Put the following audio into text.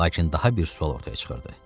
Lakin daha bir sual ortaya çıxırdı.